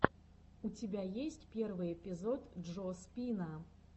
у тебя есть первый эпизод джо спина